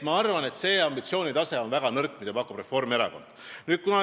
Ma arvan, et see ambitsioonitase, mida pakub Reformierakond, on väga nõrk.